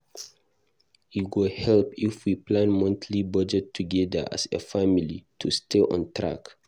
E go help if we plan monthly budget together as a family to stay on track.